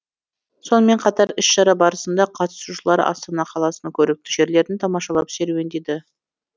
сонымен қатар іс шара барысында қатысушылар астана қаласының көрікті жерлерін тамашалап серуендеді